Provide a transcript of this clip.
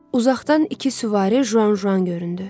Uzaqdan iki süvari Juanjuan göründü.